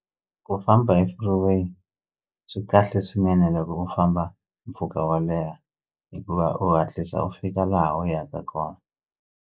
Ku famba hi freeway swi kahle swinene loko u famba mpfhuka wo leha hikuva u hatlisa u fika laha u yaka kona.